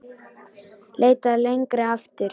Leitað lengra aftur.